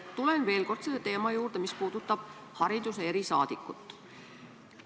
Tulen veel kord selle teema juurde, mis puudutab hariduse erisaadikut.